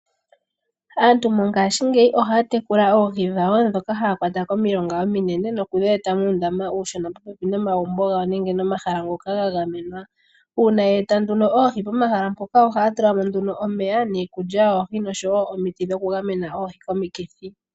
Aantu mongashingeyi oha ya tekula ohii dhawo dhoka haa kwata komilonga ominene no ku dhi eta muundama uushona popepi nomagumbo gawo nenge momahala ngoka ga gamenwa . Uuna yeeta nduno ohii pomahala mpoka ohaa tula mo nduno omeya, niikulya yoohi noshowo omiti dho kugamena ohii komikithi.